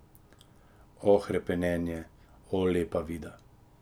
O hrepenenje, o Lepa Vida!